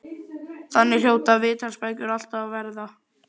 Þannig hljóta viðtalsbækur alltaf að verða.